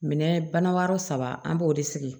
Minɛn bana wɛrɛ saba an b'o de sigi